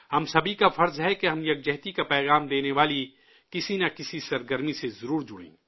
ہم سبھی کی ذمہ داری ہے کہ ہم اتحاد کا پیغام دینے والی کسی نہ کسی سرگرمی سے ضرور جڑیں